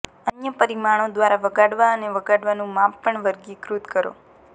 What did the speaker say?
અન્ય પરિમાણો દ્વારા વગાડવા અને વગાડવાનું માપ પણ વર્ગીકૃત કરો